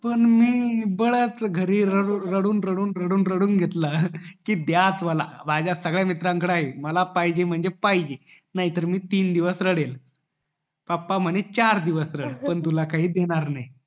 पण मी बळचं घरी रडून रडून रडून घेतला कि द्याच मला माझ्या सगळ्या मित्रा कडे आहे मला पाहिजे म्हणजे पाहिजे नाही तर मी दिन दिवस रडेल पप्पा म्हणले तू चार दिवस रड पण तुला काय देणार नई